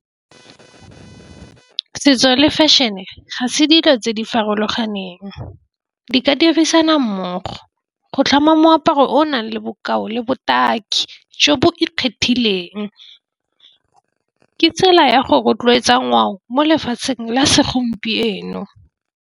Setso le fashion e ga se dilo tse di farologaneng, di ka dirisana mmogo. Go tlhama moaparo o nang le bokao le botaki jo bo ikgethileng ke tsela ya go rotloetsa ngwao mo lefatsheng la segompieno.